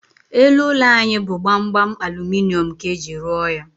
Elu ụlọ anyị bụ gbamgbam aluminium ka eji ruo ya